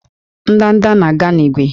Ndanda na-aga n'ígwè